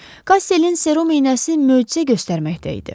Kasserlin serum inəsi möcüzə göstərməkdə idi.